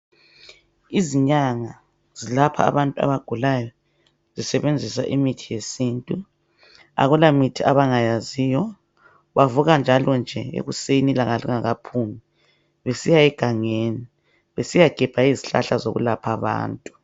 Izinyanga zilapha abantu abagulayo zisebenzisa imithi yesintu. Akula mithi abangayaziyo. Bavuka njalo nje ekuseni ilanga lingakaphumi besiya egangeni besiyagebha izihlahla zokwelapha abantu.